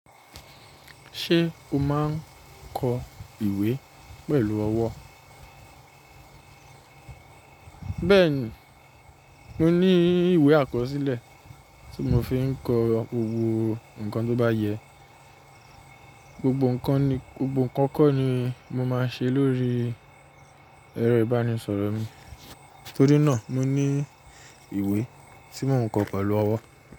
Ṣé o máa ń kọ ìwé pẹ̀lú ọwọ́? Bẹ́ẹ̀ni, mo ní ìwé àkọsílẹ̀ tí mo fi ń kọ ohun kan tó bá yẹ. Gbogbo nnkan ni, gbogbo nnkan kan ni mo máa ṣe lórí ẹ̀rọ ìbánisọ̀rọ̀ mi. Torí náà mo ní ìwé tí mo ń kọ pẹ̀lú ọwọ́.